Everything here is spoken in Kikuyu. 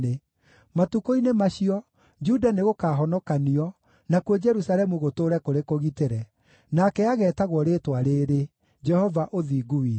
Matukũ-inĩ macio, Juda nĩgũkahonokanio, nakuo Jerusalemu gũtũũre kũrĩ kũgitĩre. Nake ageetagwo rĩĩtwa rĩĩrĩ Jehova-Ũthingu-Witũ.’